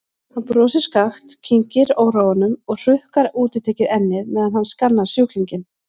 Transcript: Hann brosir skakkt, kyngir óróanum og hrukkar útitekið ennið meðan hann skannar sjúklinginn.